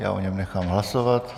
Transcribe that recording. Já o něm nechám hlasovat.